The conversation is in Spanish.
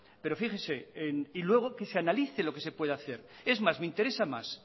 pero fíjese y luego que se analice lo que se puede hacer es más me interesa más